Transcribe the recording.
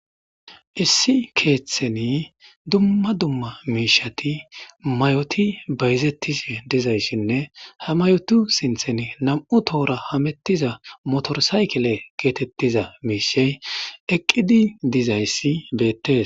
Issi keeththeni dumma dumma miishati may'oti bayzettis dizayssinne ha mayotu sinthen nam'u tohora hamettiza motorsaykile geetettiza miishey eqqidi dizayssi beettes.